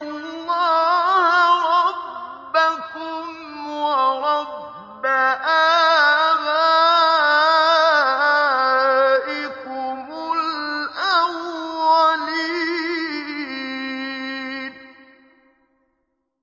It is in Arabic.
اللَّهَ رَبَّكُمْ وَرَبَّ آبَائِكُمُ الْأَوَّلِينَ